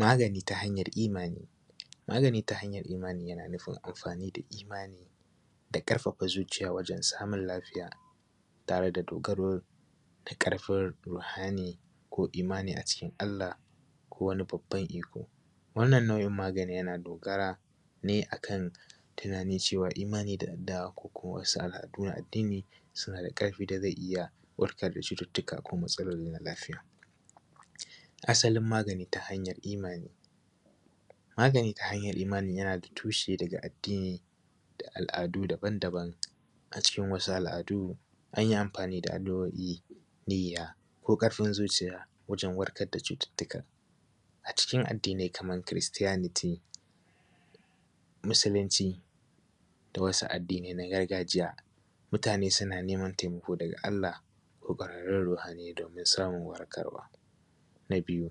Magani ta hanyar imani, magani ta hanyar imani yana nufin amfani fa imani da ɗarfafa zuciya wajen samun lafiya tare da dogaro da ƙarfin rofani ko imani a cikin Allah ko wani babban iko. Wannan nau’in maganin yana dogara ne a kan, tunanin cewa imani da addu’a ko kuwa wasu al’adu na addini suna da ƙarfi da zai iya warkad da cututtuka ko matsaloli na lafiaya. Asalin magani ta hanyar imani, magani ta hanyar imani yana da tushe da addin da al’du daba-daban, cikin wasu al’adu an yi amfani da addu’o’i niyya ko ƙarfin zuciya wajen warkar da cututtuka. A cikin addini kamar Kiristiyaniti, Musulunci da wasu addinai na gargajiya, mutane suna neman taimako daga Allah ko gurin rohanai domin samun warkarwa. Na biyu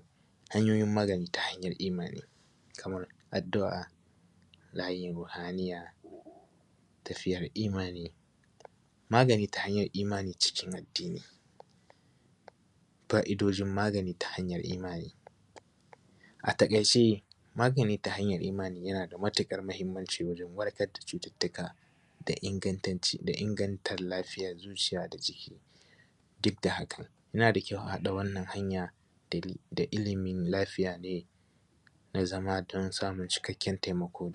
hanyoyin magani ta hanyar imani, kamar addu’a layin ruhaniyya, tafiyar imani, magani ta hanyar imani cikin addini, fa’dojin magani ta hanyar imani. A taƙaice magani ta hanyar imani yana da matuƙar muhimmanci wurin warkar da cututtuka, da ingancika da anganta lafiayar zuciya da jiki. Duk da haka yana da kyau a haɗa wannan hanya da ilimin lafiya ne da zama tun samun cikakken taimako.